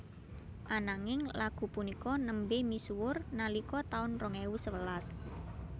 Ananging lagu punika nembé misuwur nalika taun rong ewu sewelas